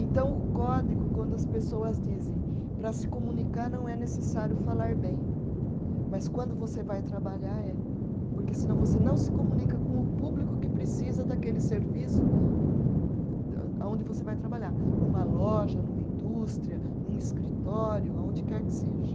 Então o código, quando as pessoas dizem, para se comunicar não é necessário falar bem, mas quando você vai trabalhar é, porque senão você não se comunica com o público que precisa daquele serviço âh aonde você vai trabalhar, numa loja, numa indústria, num escritório, aonde quer que seja.